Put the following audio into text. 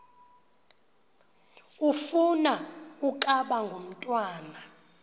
ufuna ukaba ngumntwana